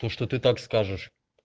то что ты так скажешь